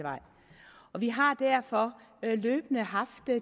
og vi har derfor løbende haft